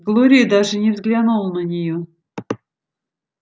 глория даже не взглянула на нее